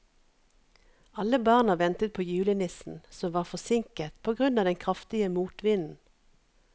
Alle barna ventet på julenissen, som var forsinket på grunn av den kraftige motvinden.